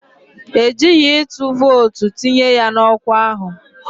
E jighi ịtụ vootu tinye ya n'ọkwa ahụ